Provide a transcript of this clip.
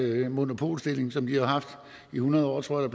monopolstilling som de har haft i hundrede år tror jeg